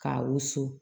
K'a wusu